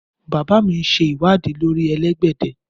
Bàbá mi ń ṣe ìwádìí lórí elégbèdè